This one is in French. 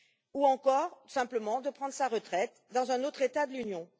ou encore, simplement, de prendre sa retraite dans un autre État de l'Union.